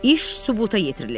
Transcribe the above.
İş sübuta yetirilib.